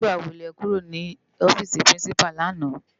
Nigbá wó lè kúró ni òfisi Pirinsipá làná?